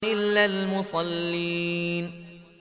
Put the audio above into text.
إِلَّا الْمُصَلِّينَ